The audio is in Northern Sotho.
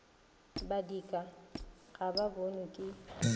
badika ga ba bonwe ke